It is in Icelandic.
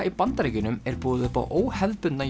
í Bandaríkjunum er boðið upp á óhefðbundna